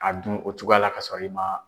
A dun o cogoya la ka sɔrɔ i man